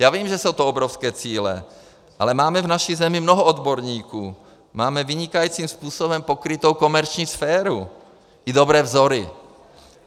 Já vím, že jsou to obrovské cíle, ale máme v naší zemi mnoho odborníků, máme vynikajícím způsobem pokrytou komerční sféru i dobré vzory.